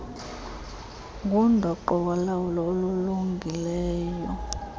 ngundoqo wolawulo olulungileyo